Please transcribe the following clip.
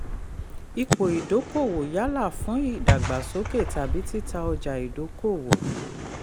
ìpò ìdókòwò yálà fún ìdàgbàsókè tàbí tita ọjà ìdókòwò.